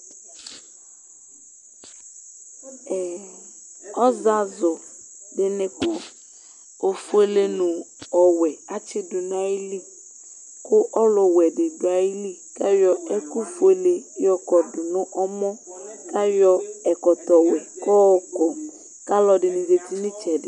Ɔzazʊ dinɩ kɔ, ofuele nɔwɛ atsɩdʊ nayɩlɩ Kʊ ɔlʊwɛ di dʊayili yɔ ɛkʊfuele yɔkodʊ nu ɔmɔ, kayɔ ekɔtɔwɛ kɔokɔ kalʊɛdinɩ zatɩ nɩtsɛdɩ